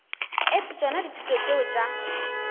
etse tšona dithuto tšeo tša